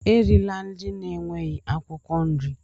Erila nri na-enweghị akwụkwọ nri!